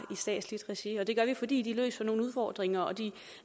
i statsligt regi det gør vi fordi de løser nogle udfordringer og de